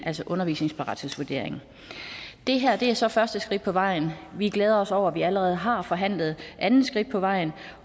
altså undervisningensparathedsvurderingen det her er altså første skridt på vejen vi glæder os over at vi allerede har forhandlet andet skridt på vejen